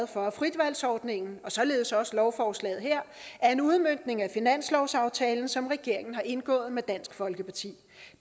for at fritvalgsordningen og således også lovforslaget her er en udmøntning af finanslovsaftalen som regeringen har indgået med dansk folkeparti